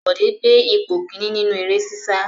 Bọ̀dé gbé ipò kìíní nínú eré sísá.